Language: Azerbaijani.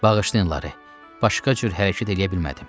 Bağışlayın Lara, başqa cür hərəkət eləyə bilmədim.